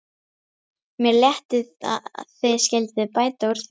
Mér létti að þið skylduð bæta úr því.